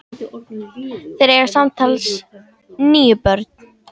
Þeir eiga samtals níu börn.